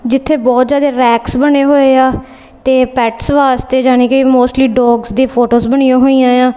ਜਿੱਥੇ ਬਹੁਤ ਜਿਆਦੇ ਰੈਕਸ ਬਣੇ ਹੋਏ ਆ ਤੇ ਪੈਟਸ ਵਾਸਤੇ ਜਾਨੀ ਕਿ ਮੋਸਟਲੀ ਡੋਗਸ ਦੀ ਫੋਟੋਜ ਬਣੀਆਂ ਹੋਈਆਂ ਆ।